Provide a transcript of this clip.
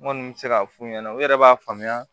N kɔni bɛ se k'a f'u ɲɛna u yɛrɛ b'a faamuya